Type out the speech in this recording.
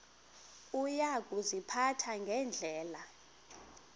uya kuziphatha ngendlela